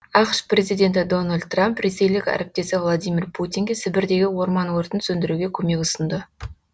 ақш президенті дональд трамп ресейлік әріптесі владимир путинге сібірдегі орман өртін сөндіруге көмек ұсынды